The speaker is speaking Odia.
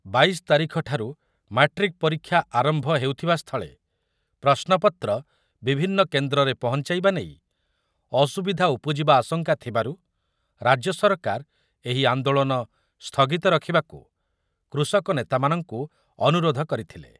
ବାଇଶ ତାରିଖଠାରୁ ମାଟ୍ରିକ୍ ପରୀକ୍ଷା ଆରମ୍ଭ ହେଉଥିବାସ୍ଥଳେ ପ୍ରଶ୍ନପତ୍ର ବିଭିନ୍ନ କେନ୍ଦ୍ରରେ ପହଞ୍ଚାଇବା ନେଇ ଅସୁବିଧା ଉପୁଜିବା ଆଶଙ୍କା ଥିବାରୁ ରାଜ୍ୟ ସରକାର ଏହି ଆନ୍ଦୋଳନ ସ୍ଥଗିତ ରଖିବାକୁ କୃଷକ ନେତାମାନଙ୍କୁ ଅନୁରୋଧ କରିଥିଲେ ।